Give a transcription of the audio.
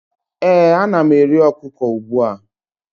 ee, ana m eri okuko ugbua